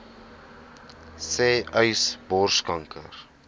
sê uys borskanker